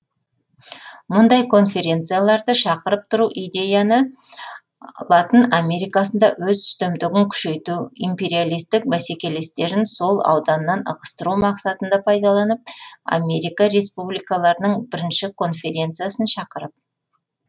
мұндай конферецияларды шақырып тұру идеяны латын америкасында өз үстемдігін күшейту империялистік бәсекелестерін сол ауданнан ығыстыру мақсатында пайдаланып америка республикаларының бірінші конферециясын шақырып